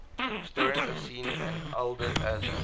historians have seen ealdred as an